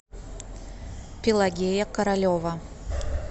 пелагея королева